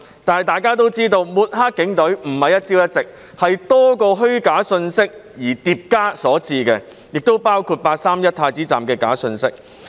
大家都知道，抹黑警隊不是一朝一夕，而是多個虛假信息疊加所致，亦包括"八三一太子站"的假信息。